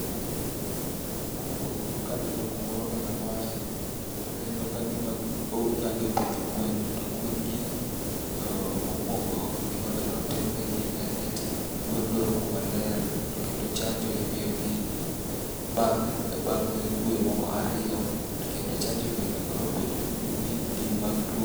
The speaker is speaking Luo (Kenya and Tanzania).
Mokuongo ka aneno kumoro kaka mae, aneno kagima ng'ani opidho gwen. To gwengi mokuongo gima nonengo notim negi en eti gwen dwaro kuma ler to kendo chanjo imiyogi bang' bang' dwe moko ariyo. To kendo chanjo gi nonego no bed gin mag tuo...